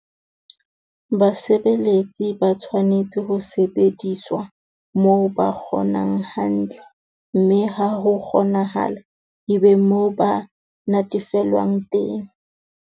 Basebeletsi ba tshwanetse ho sebediswa moo ba kgonang hantle, mme ha ho kgonahala e be moo ba natefelwang teng.